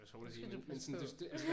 Nu skal du passe på